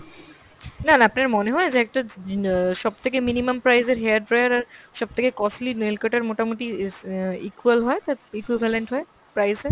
না না আপনার মনে হয় যে একটা অ্যাঁ সব থেকে minimum price এর hair dryer আর সবথেকে costly nail cutter মোটা-মুটি অ্যাঁ equal হয় তা equivalent হয় price এ?